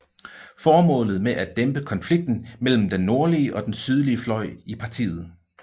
Formålet var at dæmpe konflikten mellem den nordlige og den sydlige fløj i partiet